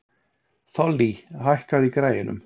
Þollý, hækkaðu í græjunum.